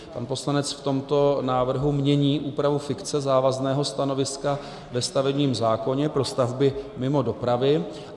Pan poslanec v tomto návrhu mění úpravu fikce závazného stanoviska ve stavebním zákoně pro stavby mimo dopravy.